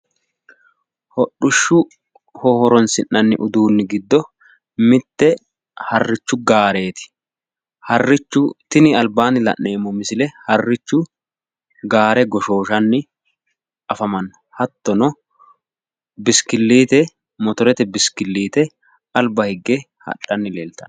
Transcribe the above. hodhishaho horonsinaniri giddo mitte harrichu gaareeti harrichu gaare goshooshanni afamanno hattono motorete biskiliite afantanno.